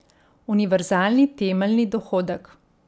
Univerzalni temeljni dohodek.